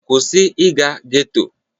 Kwụsị ịga getto!